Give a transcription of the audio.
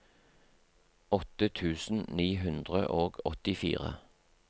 åtte tusen ni hundre og åttifire